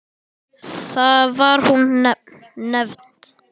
Var hún nefnd